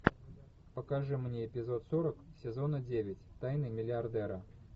покажи мне эпизод сорок сезона девять тайны миллиардера